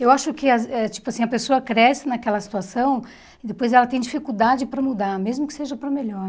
Eu acho que as é tipo assim a pessoa cresce naquela situação e depois ela tem dificuldade para mudar, mesmo que seja para melhor.